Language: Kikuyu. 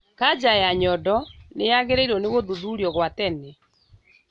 Kanja ya nyondo nĩyagĩrĩirwo nĩ gũthuthurio gwa tene